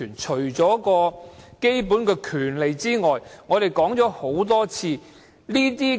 除了基本權利外，為何我一定要爭取復職權？